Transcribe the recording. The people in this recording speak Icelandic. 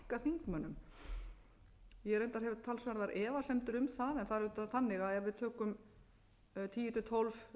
þingmönnum ég reyndar hef talsverðar efasemdir um það en það er auðvitað þannig að ef við tökum tíu til tólf